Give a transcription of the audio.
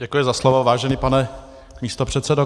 Děkuji za slovo, vážený pane místopředsedo.